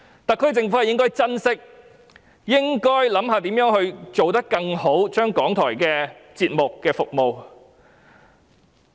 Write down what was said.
特區政府理應珍惜，並思考如何提升港台的節目質素和服務。